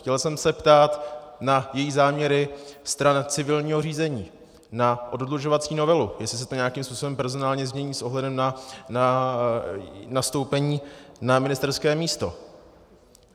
Chtěl jsem se ptát na její záměry stran civilního řízení, na oddlužovací novelu, jestli se to nějakým způsobem personálně změní s ohledem na nastoupení na ministerské místo.